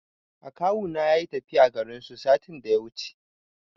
Akawuna yayi tafiya zuwa garinsu satin da ya wuce.